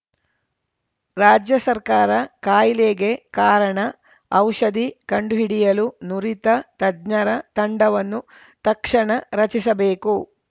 ರಾಜ್ಯ ಸರ್ಕಾರ ಕಾಯಿಲೆಗೆ ಕಾರಣ ಔಷಧಿ ಕಂಡುಹಿಡಿಯಲು ನುರಿತ ತಜ್ಞರ ತಂಡವನ್ನು ತಕ್ಷಣ ರಚಿಸಬೇಕು